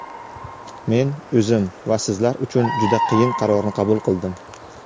Men o‘zim va sizlar uchun juda qiyin qarorni qabul qildim.